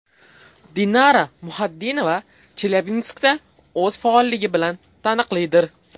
Dinara Muxatdinova Chelyabinskda o‘z faolligi bilan taniqlidir.